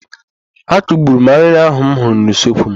Akugburu m arịrị ahụ m hụrụ n'usekwu m.